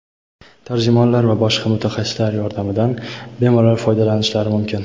tarjimonlar va boshqa mutaxassislar yordamidan bemalol foydalanishlari mumkin.